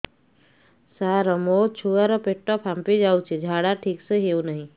ସାର ମୋ ଛୁଆ ର ପେଟ ଫାମ୍ପି ଯାଉଛି ଝାଡା ଠିକ ସେ ହେଉନାହିଁ